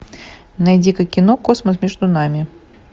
найди ка кино космос между нами